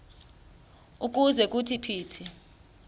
ukuze kuthi phithi